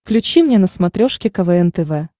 включи мне на смотрешке квн тв